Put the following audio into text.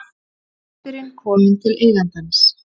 Hundurinn kominn til eigandans